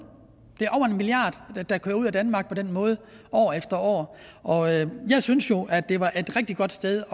det der kører ud af danmark på den måde år efter år jeg synes jo at det var et rigtig godt sted